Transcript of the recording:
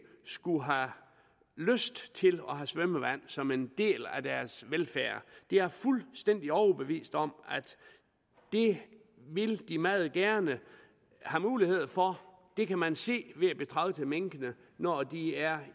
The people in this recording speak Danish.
skulle have lyst til at have svømmevand som en del af deres velfærd jeg er fuldstændig overbevist om at det vil de meget gerne have mulighed for det kan man se ved at betragte minkene når de er